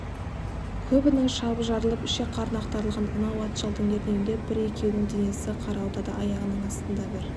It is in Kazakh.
көбінің шабы жарылып ішек-қарны ақтарылған анау ат жалдың ернеуінде де бір-екеуінің денесі қарауытады аяғының астында бір